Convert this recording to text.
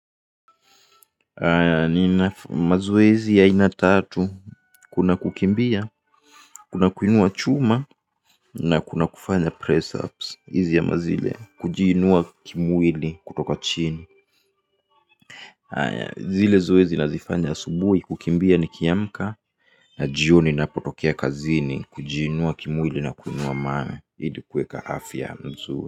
Nina mazoezi ya aina tatu: kuna kukimbia, kuna kuinua chuma na kuna kufanya press-ups, hizi ama zile, kujiinua kimwili kutoka chini. Zile zoezi nazifanya asubuhi, kukimbia nikiamka. Na jioni napotokea kazini kujiinua kimwili na kuinua mawe ili kuweka afya mzuri.